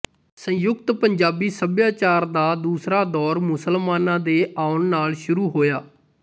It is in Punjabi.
ਸੰਯੁਕਤ ਪੰਜਾਬੀ ਸਭਿਆਚਾਰ ਦਾ ਦੂਸਰਾ ਦੌਰ ਮੁਸਲਮਾਨਾਂ ਦੇ ਆਉਣ ਨਾਲ਼ ਸ਼ੁਰੂ ਹੋਇਆ